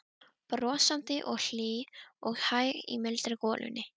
Brosandi og hlý og hæg í mildri golunni.